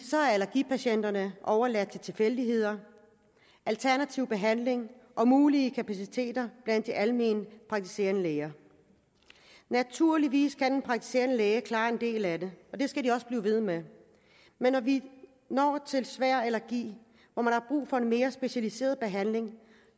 allergipatienterne så er overladt til tilfældigheder alternativ behandling og mulige kapaciteter blandt de alment praktiserende læger naturligvis kan en praktiserende læge klare en del af det og det skal de også blive ved med men når vi når til svær allergi hvor man har brug for en mere specialiseret behandling